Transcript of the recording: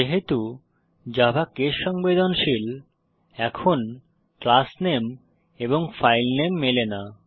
যেহেতু Java case সংবেদনশীল এখন ক্লাস নেম এবং ফাইল নেম মেলে না